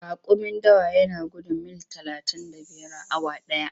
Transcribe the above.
Raƙumin dawa yana gudun mil talatin da biyar a awa ɗaya.